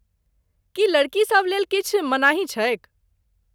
की लड़कीसभ लेल किछु मनाही छैक?